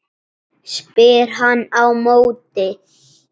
spyr hann á móti.